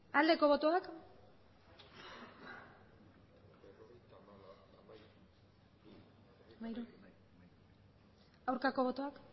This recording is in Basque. aldeko botoak aurkako botoak